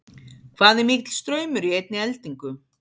hvað er mikill straumur í einni eldingu